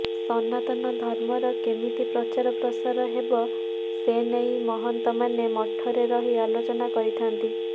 ସନାତନ ଧର୍ମର କେମିତି ପ୍ରଚାର ପ୍ରସାର ହେବ ସେନେଇ ମହନ୍ତମାନେ ମଠରେ ରହି ଆଲୋଚନା କରିଥାନ୍ତି